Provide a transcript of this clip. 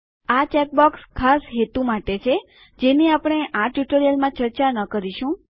આ check box ખાસ હેતુ માટે છે જેની આપણે આ ટ્યુટોરીયલ ચર્ચા ન કરીશું